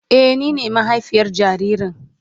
Eh, ni ne mahaifiyar jaririn.